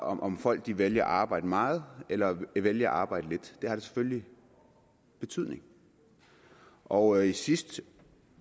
om om folk vælger at arbejde meget eller vælger at arbejde lidt det har da selvfølgelig en betydning og i sidste